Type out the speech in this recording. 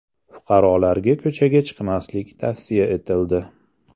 Fuqarolarga ko‘chaga chiqmaslik tavsiya etildi.